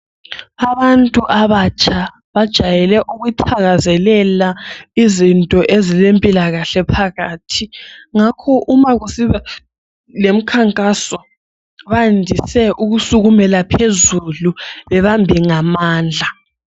Abantu abatsha bajayele ukuthakazelela izinto ezile mpilakahle phakathi, ngakho uma kusiba lemikhankaso bandise ukusekumela phezulu bebambe ngamandla.